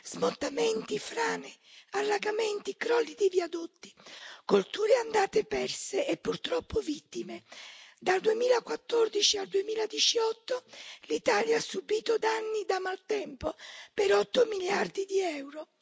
Smottamenti, frane, allagamenti, crolli di viadotti, colture andare perse e purtroppo vittime. Dal 2014 al 2018 l'Italia ha subito danni da maltempo per 8 miliardi di euro.